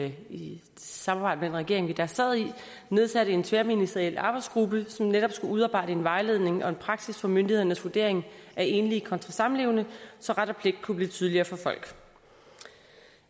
i samarbejde regering vi da sad i nedsatte en tværministeriel arbejdsgruppe som netop skulle udarbejde en vejledning og en praksis for myndighedernes vurdering af enlige kontra samlevende så ret og pligt kunne blive tydeligere for folk